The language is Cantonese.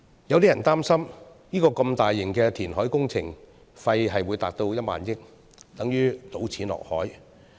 有些人擔心，如此大型的填海工程費用高達1萬億元，等同於"倒錢落海"。